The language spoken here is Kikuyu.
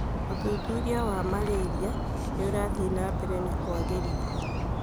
ũthuthuria wa Marĩrĩra nĩũrathiĩ na mbere na kwagĩrithio